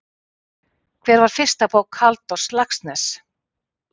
Hver var fyrsta bók Halldórs Laxness?